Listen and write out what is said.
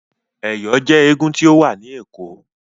Ẹ̀yọ̀ jẹ́ eégún tí ó wà ni Ẹ̀kọ́.